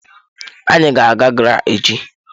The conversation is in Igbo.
Anyị ga-aga GRA echi.